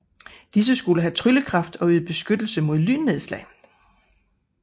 Disse skulle have tryllekraft og yde beskyttelse mod lynnedslag